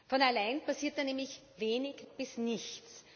Von allein passiert da nämlich wenig bis nichts.